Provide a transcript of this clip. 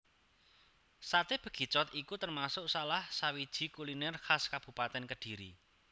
Saté Bekicot iku termasuk salah sawiji kuliner khas Kabupatèn Kediri